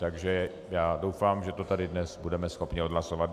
Takže já doufám, že to tady dnes budeme schopni odhlasovat.